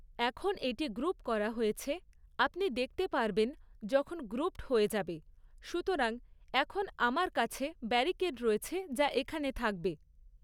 এখন এটি গ্ৰুপ করা হয়েছে, আপনি দেখতে পারবেন যখন গ্রুপড হয়ে যাবে, সুতরাং এখন আমার কাছে ব্যারিকেড রয়েছে যা এখানে থাকবে।